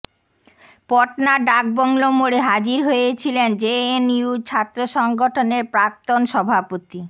পটনার ডাকবাংলো মোড়ে হাজির হয়েছিলেন জেএনইউ ছাত্র সংগঠনের প্রাক্তন সভাপতি